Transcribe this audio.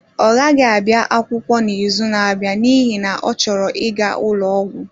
Ọ gaghị abịa akwụkwọ n'izu na-abịa n'ihi na ọ chọrọ ịga ụlọ ọgwụ